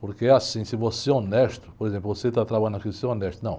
Porque é assim, se você é honesto, por exemplo, você está trabalhando aqui, se você é honesto, não.